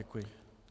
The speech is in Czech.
Děkuji.